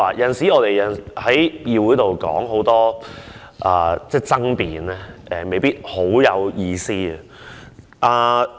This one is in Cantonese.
有時候，我們在議會爭辯未必十分有意思。